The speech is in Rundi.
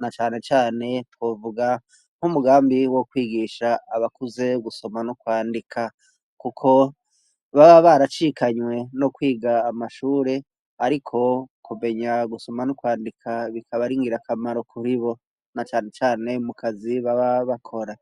na canecane twovuga nk'umugambi wo kwigisha abakuze gusoma no kwandika, kuko baba baracikanywe no kwiga amashure, ariko kubenyawe gusoma n'ukwandika bikabaringira akamaro kuhibo na canecane mukazi baba bakora.